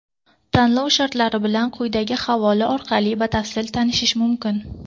Tanlov shartlari bilan quyidagi havola orqali batafsil tanishish mumkin.